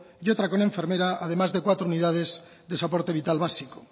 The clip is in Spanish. y otra con enfermera además de cuatro unidades de soporte vital básico